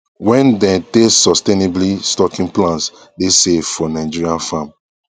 wen dey test sustainably stocking plans dey safe for nigeria farm